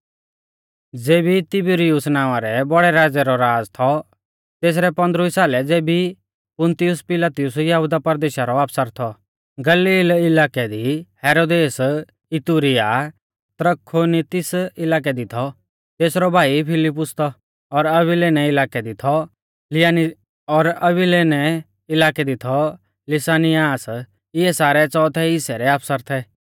ज़ेबी तिबिरियुस नावां रै बौड़ै राज़ै रौ राज़ थौ तेसरै पौन्दरवी साले ज़ेबी पुन्तियुस पिलातुस यहुदा परदेशा रौ आफसर थौ गलील इलाकै दी हेरोदेस इतुरिया और त्रखोनीतिस इलाकै दी थौ तेसरौ भाई फिलिफुस और अविलेने इलाकै दी थौ लिसानियास इऐ सारै च़ोथै हिस्सै रै आफसर थै